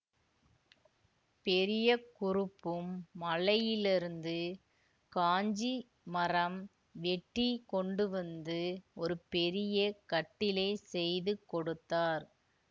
பெரிய குறுப்பும் மலையிலிருந்து காஞ்சிமரம் வெட்டி கொண்டுவந்து ஒரு பெரிய கட்டிலைச் செய்து கொடுத்தார்